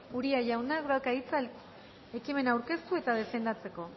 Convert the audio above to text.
uria jaunak dauka hitza ekimena aurkeztu eta defendatzeko